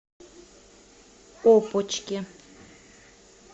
опочке